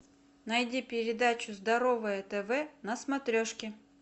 найди передачу здоровое тв на смотрешке